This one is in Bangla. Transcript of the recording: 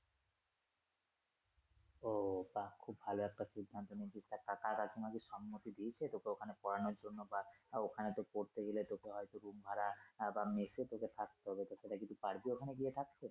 ও তা খুব ভালো একটা সিদ্ধান্ত নিয়েছিস তা কাকারা তোমাকে সম্মতি দিয়েছে তোকে ওখানে পড়ানোর জন্য বা ওখানে তোর পড়তে গেলে তোকে হয়তো room ভাড়া আহ মেসে তোকে থাকতে হবে তো সেটা কি তুই পারবি গিয়ে থাকতে?